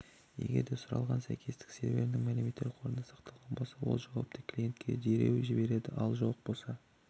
егерде сұралған сәйкестік серверінің мәлімет қорында сақталған болса ол жауапты клиентке дереу жібереді ал жоқ болса